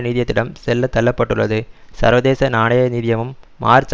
நிதியத்திடம் செல்ல தள்ள பட்டுள்ளது சர்வதேச நாணய நிதியமும் மார்ச்